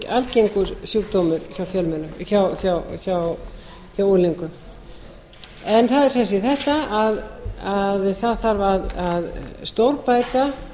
algengur sjúkdómur hjá unglingum það er sem sé þetta að það þarf að stórbæta